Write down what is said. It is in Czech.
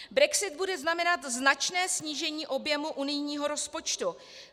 Brexit bude znamenat značné snížení objemu unijního rozpočtu.